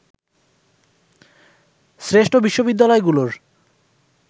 শ্রেষ্ঠ বিশ্ববিদ্যালয়গুলোর